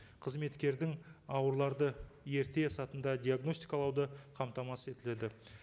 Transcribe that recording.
қызметкердің ауруларды ерте диагностикалауды қамтамасыз етіледі